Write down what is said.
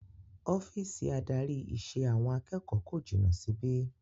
Ọ́fíìsì adarí ìṣe àwọn akẹ́kọ̀ọ́ kò jìnà síbí